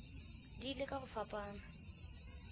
di ile ka go fapana